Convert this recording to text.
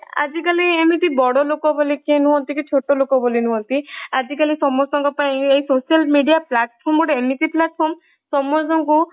ଆଜିକାଲି ଏମିତି ବଡଲୋକ ବୋଲିକି ନୁହନ୍ତି କି ଛୋଟ ଲୋକ ବୋଲିକି ନୁହନ୍ତି ଆଜିକାଲି ସମସ୍ତଙ୍କ ପାଇଁ ଏଇsocial media platform ଗୋଟେ ଏମିତି platform ସମସ୍ତଙ୍କୁ